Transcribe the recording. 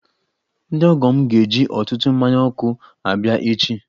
Ndị ọgọ m ga-eji ọtụtụ mmanya ọkụ abịa echi.